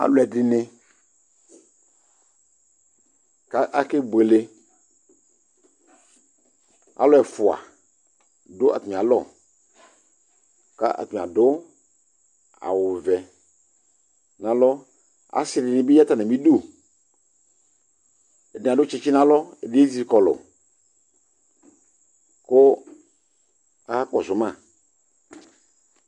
Alʋɛdini ka akebuele Alʋ ɛfua dʋ atamialɔ ka atani adʋ awʋ vɛ n'alɔ Asi dini bi ya n'atamidu, ɛdi adʋ tsitsi n'alɔ, ɛdi ezikɔlʋ kʋ aya kɔsʋ ma